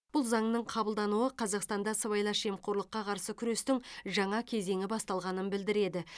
бұл заңның қабылдануы қазақстанда сыбайлас жемқорлыққа қарсы күрестің жаңа кезеңі басталғанын білдіреді